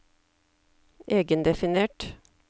egendefinert